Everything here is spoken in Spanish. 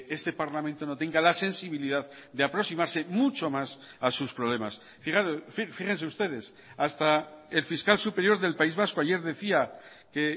este parlamento no tenga la sensibilidad de aproximarse mucho más a sus problemas fíjense ustedes hasta el fiscal superior del país vasco ayer decía que